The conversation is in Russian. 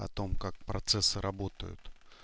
о том как процессы работают